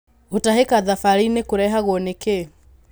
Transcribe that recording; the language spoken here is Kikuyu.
Gũtahĩka thabarĩinĩ gũrehagwo nĩ kĩ?